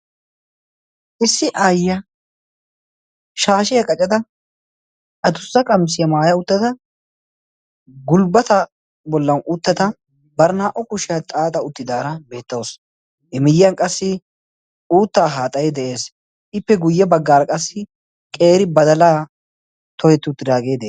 issi aayya shaashiyaa qacada addussa qamisiyaa maaya uttada gulbbata bollan uuttata bar naa77o kushiyaa xaaxa uttidaara beettausu imiyyiyan qassi uuttaa haaxayi de7ees ippe guyye baggaara qassi qeeri badalaa tohetti uttiraagee des